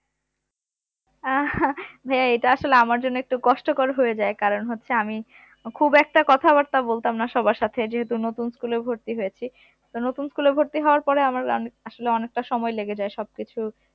আহ হ্যাঁ যে এটা আসলে আমার জন্য একটু কষ্টকর হয়ে যায় কারণ হচ্ছে আমি খুব একটা কথাবার্তা বলতাম না আমি সবার সাথে, যেহেতু নতুন school এ ভর্তি হয়েছি তো নতুন school এ ভর্তি হওয়ার পরে আমার অনে~ আসলে অনেকটা সময় লেগে যায় সবকিছু